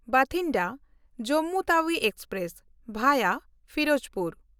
Bathinda Jammu Tawi express (ᱵᱷᱟᱭᱟ Firozpur)